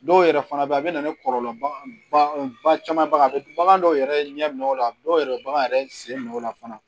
Dɔw yɛrɛ fana bɛ yen a bɛ na ni kɔlɔlɔ baga ba caman ba a bɛ bagan dɔw yɛrɛ ɲɛ minɛ o la dɔw yɛrɛ bɛ bagan yɛrɛ sen nɔ la fana